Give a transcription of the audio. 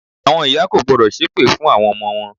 Àwọn ìyá kò gbọ́dọ̀ ṣépè fún àwon ọmọ wọn